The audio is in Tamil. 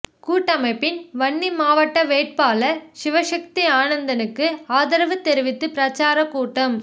கூட்டமைப்பின் வன்னி மாவட்ட வேட்பாளர் சிவசக்தி ஆனந்தனுக்கு ஆதரவு தெரிவித்து பிரச்சாரக் கூட்டம்